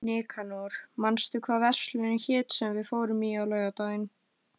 Nikanor, manstu hvað verslunin hét sem við fórum í á laugardaginn?